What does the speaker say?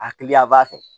A hakili b'a fɛ